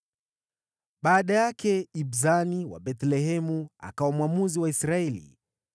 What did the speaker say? Baada yake, Ibzani wa Bethlehemu akawa mwamuzi wa Israeli.